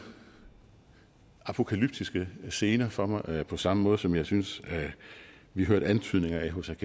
apokalyptiske scener for mig på samme måde som jeg synes at vi hørte antydninger af hos